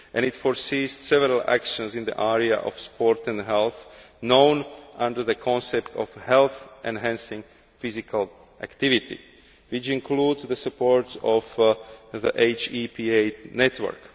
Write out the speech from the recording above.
It foresees several actions in the area of sport and health, known under the concept of Health Enhancing Physical Activity' which include the support of the HEPA network.